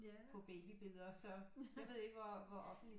På babybilleder så jeg ved ikke hvor hvor offentligt